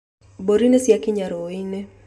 Mbũri nĩ ciakinya rũĩ-inĩ